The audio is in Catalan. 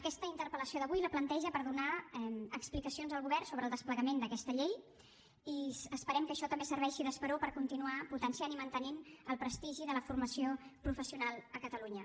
aquesta interpel·lació d’avui la planteja per demanar explicacions al govern sobre el desplegament d’aquesta llei i esperem que això també serveixi d’esperó per continuar potenciant i mantenint el prestigi de la formació professional a catalunya